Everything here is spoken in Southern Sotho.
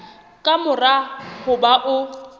ka mora ho ba o